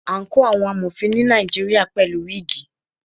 Àǹkóò àwọn Amọ̀fin ni Nàìjíríà pẹ̀lú wígìì.